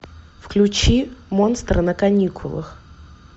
включи монстры на каникулах